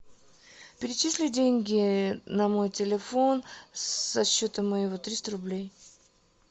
перечисли деньги на мой телефон со счета моего триста рублей